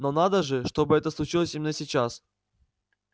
но надо же чтобы это случилось именно сейчас